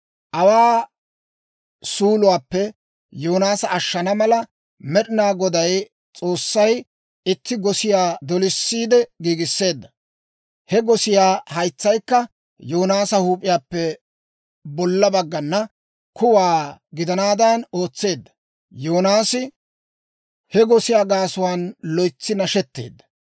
Awaa suuluwaappe Yoonaasa ashshana mala, Med'inaa Goday S'oossay itti gosiyaa dolisiide giigisseedda; he gosiyaa haytsaykka Yoonaasa huup'iyaappe bolla baggana kuwaa gidanaadan ootseedda. Yoonaasi he gosiyaa gaasuwaan loytsi nashetteedda.